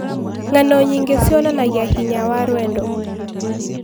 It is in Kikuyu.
Ng'ano nyingĩ cionanagia hinya wa rwendo.